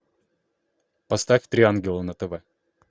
поставь три ангела на тв